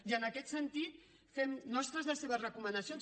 i en aquest sentit fem nostres les seves recomanacions